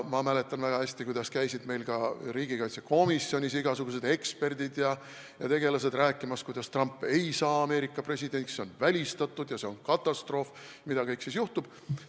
Ma mäletan väga hästi, kuidas ka meil riigikaitsekomisjonis käisid igasugused eksperdid ja tegelased rääkimas, kuidas Trump ei saa Ameerika presidendiks, see on välistatud ja see oleks katastroof, et mis kõik siis juhtuks.